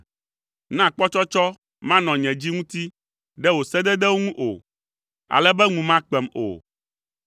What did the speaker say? Na kpɔtsɔtsɔ manɔ nye dzi ŋuti ɖe wò sededewo ŋu o, ale be ŋu makpem o.